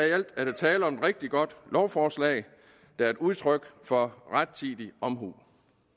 i alt er der tale om et rigtig godt lovforslag der er et udtryk for rettidig omhu